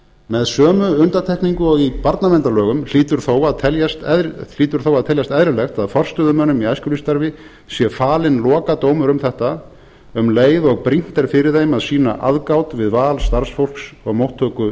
með sömu undantekningu og í barnaverndarlögum hlýtur þó að teljast eðlilegt að forstöðumönnum í æskulýðsstarfi sé falinn lokadómur um þetta um leið og brýnt er fyrir þeim að sýna aðgát við val starfsfólks á móttöku